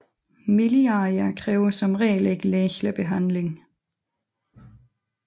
Miliaria kræver som regel ikke lægelig behandling